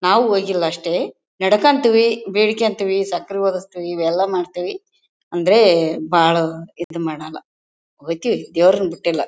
ನಾವು ಹೋಗಿಲ್ಲ ಅಷ್ಟೇ ನಡಕಂತೀವಿ ಬೇಡ್ಕಂತೀವಿ ಸಕ್ಕರೆ ಓದಿಸ್ತಿವಿ ಇವೆಲ್ಲ ಮಾಡ್ತಿವಿ ಅಂದ್ರೆ ಬಹಳ ಇದ್ ಮಾಡಲ್ಲ. ಒಯ್ಥಿವಿ ದೇವ್ರನ್ನ ಬಿಟ್ಟಿಲ್ಲ.